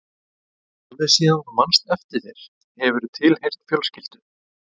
Alveg síðan þú manst eftir þér hefurðu tilheyrt fjölskyldu.